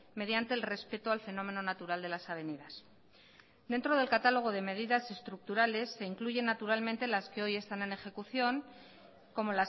mediante el respeto al fenómeno natural de las avenidas dentro del catálogo de medidas estructurales se incluyen naturalmente las que hoy están en ejecución como